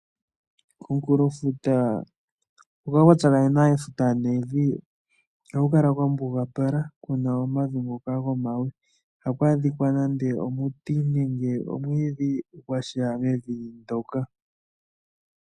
Komukulofuta hoka kwatsakanena efuta nevi ohakukala kwambugapala kuna omavi ngoka gomawe, ihaku adhikwa nande omiti nenge omwiidhi gwaza mevi ndoka.